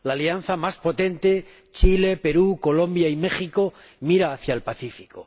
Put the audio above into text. La alianza más potente ―Chile, Perú, Colombia y México― mira hacia el Pacífico.